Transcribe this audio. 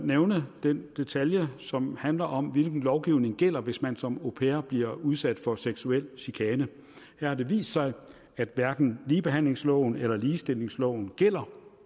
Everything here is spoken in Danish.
nævne den detalje som handler om hvilken lovgivning der gælder hvis man som au pair bliver udsat for seksuel chikane her har det vist sig at hverken ligebehandlingsloven eller ligestillingsloven gælder